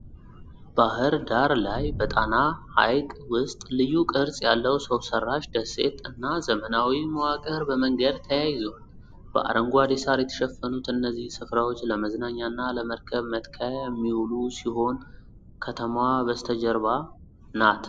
ባሕር ዳር ላይ፣ በጣና ሐይቅ ውስጥ፣ ልዩ ቅርፅ ያለው ሰው ሰራሽ ደሴት እና ዘመናዊ መዋቅር በመንገድ ተያይዘዋል። በአረንጓዴ ሳር የተሸፈኑት እነዚህ ስፍራዎች ለመዝናኛና ለመርከብ መትከያ የሚውሉ ሲሆን ከተማዋ በስተጀርባ ናት።